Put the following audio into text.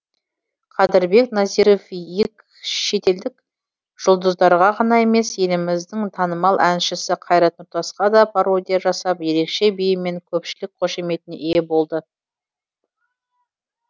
қадірбек назиров шетелдік жұлдыздарға ғана емес еліміздің танымал әншісі қайрат нұртасқада пародия жасап ерекше биімен көпшілік қошеметіне ие болды